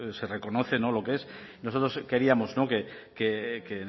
se reconoce lo que es nosotros queríamos que